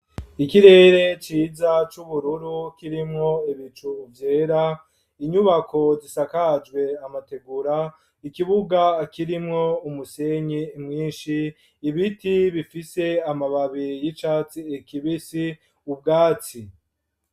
Ikirere ciza c'ubururu, kirimwo ibicu vyera, inyubako zisakajwe amategura, ikibuga kirimwo umusenyi mwinshi ,ibiti bifise amababiri y'icatsi kibisi ubwati.